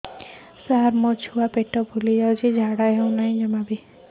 ସାର ମୋ ଛୁଆ ପେଟ ଫୁଲି ଯାଉଛି ଝାଡ଼ା ହେଉନାହିଁ